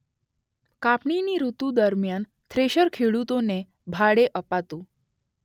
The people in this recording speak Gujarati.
કાપણીની ૠતુ દરમ્યાન થ્રેશર ખેડૂતોને ભાડે અપાતું.